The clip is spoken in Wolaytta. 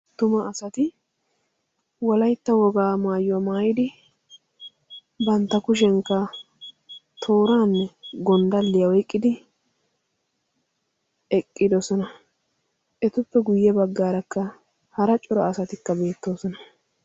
Tuma asati walaytta wogaa maayyuwaa maayidi bantta kushenkka tooraanne gonddalliyaa oyqqidi eqqidosona. etuppe guyye baggaarakka hara cora asatikka beettoosona.